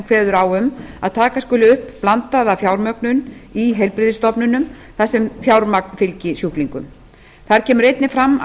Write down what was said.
kveður á um að taka skuli upp blandaða fjármögnun í heilbrigðisstofnunum þar sem fjármagn fylgi sjúklingum þar kemur einnig fram að